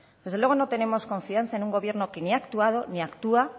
desde luego no tenemos confianza en un gobierno que ni ha actuado ni actúa